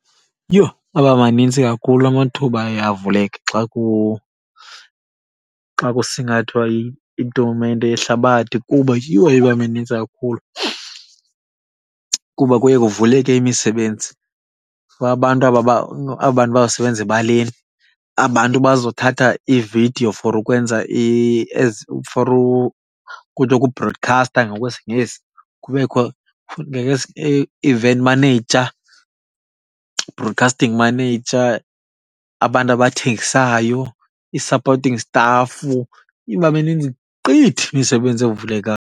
Yho aba manintsi kakhulu amathuba aye avuleke xa , xa kusingathwa itumente yehlabathi kuba yho iba minintsi kakhulu. Kuba kuye kuvuleke imisebenzi for abantu aba , aba bantu bazosebenza ebaleni, aba abantu bazothatha iividiyo for ukwenza ezi, for kuthiwa kubhrodikhasta ngokwesiNgesi. Kubekho futhi i-event manager, broadcasting manager, abantu abathengisayo, i-supporting staff. Iba minintsi gqithi imisebenzi evulekayo.